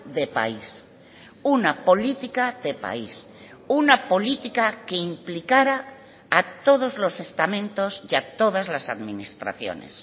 de país una política de país una política que implicara a todos los estamentos y a todas las administraciones